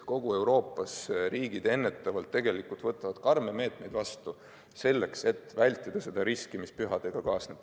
Terves Euroopas võtavad riigid ennetavalt karme meetmeid vastu selleks, et vältida seda riski, mis pühadega kaasneb.